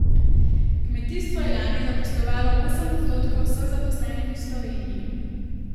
Kmetijstvo je lani zaposlovalo osem odstotkov vseh zaposlenih v Sloveniji.